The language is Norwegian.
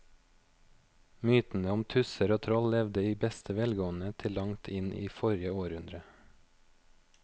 Mytene om tusser og troll levde i beste velgående til langt inn i forrige århundre.